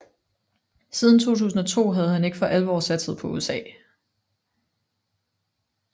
Siden 2002 havde han ikke for alvor satset på USA